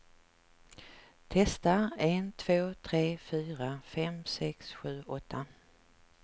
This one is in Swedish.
Testar en två tre fyra fem sex sju åtta.